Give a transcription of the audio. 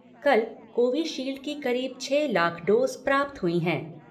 कल कोविशील्ड की करीब छह लाख डोज प्राप्त हुई हैं।